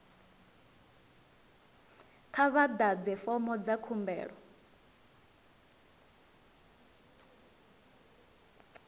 kha vha ḓadze fomo dza khumbelo